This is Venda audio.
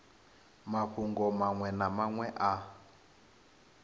mafhungo maṅwe na maṅwe a